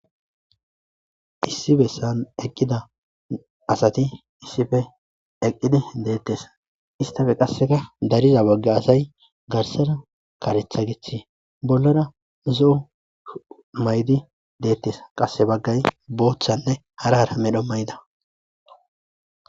issi bessan eqqida asati issife eqqidi deettes istafe qasseka dariza bogge asay garsara karetha gichi bollara zo7o maydi deettes qasse baggay boochanne harahara medho may7da